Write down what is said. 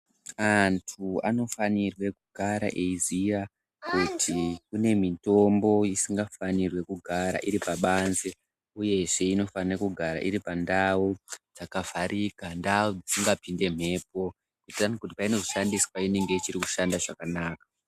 Antu anofanirwe kugara eiziya kuti kune mitombo isingafanirwi kugara iri pabanze, uyezve inofana kugara iri pandau dzakavharika ndau dzisingapinde mhepo. Kuitirani kuti painozoshandiswa inenge ichiri kushanda zvakanaka.